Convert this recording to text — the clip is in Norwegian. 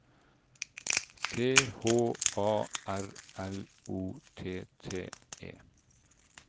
C H A R L O T T E